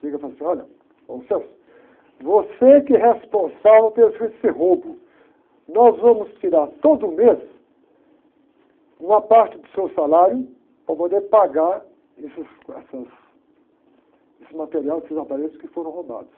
Chega e fala assim, olha, você que é responsável por esse roubo, nós vamos tirar todo mês uma parte do seu salário para poder pagar esses, essas, esse material, esses aparelhos que foram roubados.